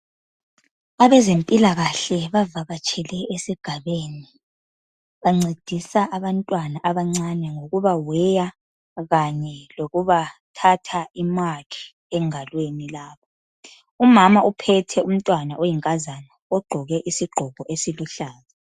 Abezempilakahle bavakatshele esigabeni bancedisa abantwana abancane ngokuba weya kanye lokubathatha imakhi engalweni lapha. Umama uphethe umntwana oyinkazana ogqoke isigqoko esiluhlaza.